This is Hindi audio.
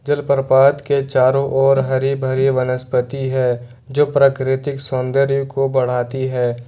जलप्रपात के चारों ओर हरी भरी वनस्पति है जो प्राकृतिक सौंदर्य को बढ़ाती है।